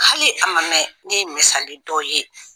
Hali a ma mɛn ne ye misali dɔ ye